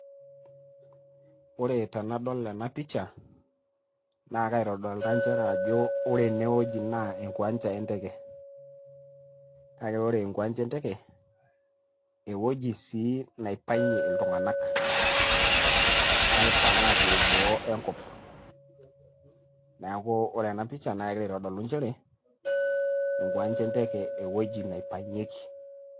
Ore tenadol ena picha naa akaitodolita nchere ajo ore eneweji naa enkiwanja enteke, kake ore enkiwanja enteke ewueji sii naipang'ie iltung'anak, aipang' aapuo boo enkop neeku ore ena picha kegira aitodolu nchere enkiwanja enteke, ewueji naipang'ieki.